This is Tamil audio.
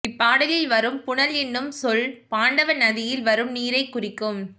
இப்பாடலில் வரும் புனல் என்னும் சொல் பாண்டவநதியில் வரும் நீரைக் குறிக்கும்